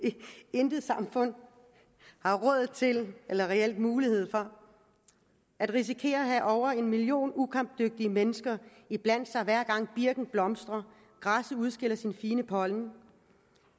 intet samfund har råd til eller reel mulighed for at risikere at have over en million ukampdygtige mennesker blandt sig hver gang birken blomstrer eller græsset udskiller sin fine pollen